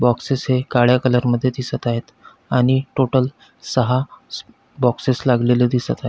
Boxes हे काळ्या colour मध्ये दिसत आहे आणि टोटल सहा स बॉक्ससेस लागलेले दिसत आहेत.